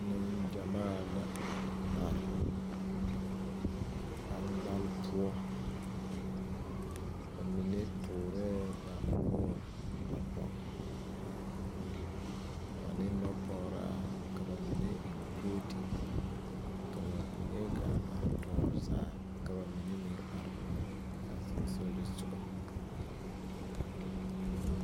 Nenɡyamaa la a are ɡbaŋɡbale poɔ ba mine tuurɛɛ ba noɔre a pɔɡe ane nɔpɔɡeraa ka ba mine eŋ koote ka ba mine ɡaa are tɔɔre zaa ka ba mine meŋ are a sonsooleŋ soɡa.